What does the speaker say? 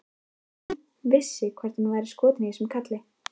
Sigríður Elva Vilhjálmsdóttir: Hvaða þýðingu hefur þessi niðurstaða fyrir Tal?